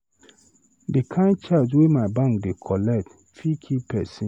The kin charge wey my bank dey collect fit kill person